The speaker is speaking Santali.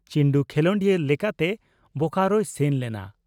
ᱪᱤᱱᱰᱩ ᱠᱷᱮᱞᱚᱸᱰᱤᱭᱟᱹ ᱞᱮᱠᱟᱛᱮ ᱵᱚᱠᱟᱨᱚᱭ ᱥᱮᱱ ᱞᱮᱱᱟ ᱾